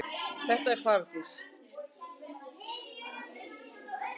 Þetta var paradís.